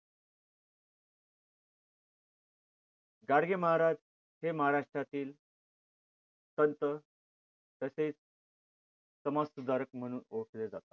गाडगे महाराज हे महाराष्ट्रातील संत तसेच समाज सुधारक म्हणून ओळखले जात होते.